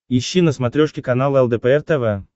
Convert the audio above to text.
ищи на смотрешке канал лдпр тв